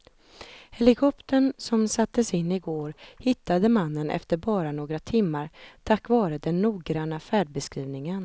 Helikoptern som sattes in i går hittade mannen efter bara några timmar tack vare den noggranna färdbeskrivningen.